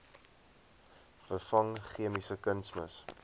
vervang chemiese kunsmis